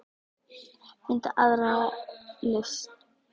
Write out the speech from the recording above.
Finndu aðra lausn.